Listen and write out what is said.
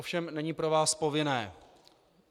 Ovšem není pro vás povinné.